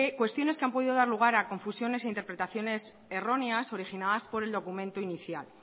cuestiones que han podido dar lugar a confusiones e interpretaciones erróneas originadas por el documento inicial